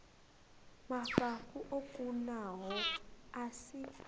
mafhafhu o kunaho a si